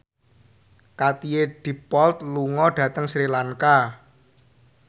Katie Dippold lunga dhateng Sri Lanka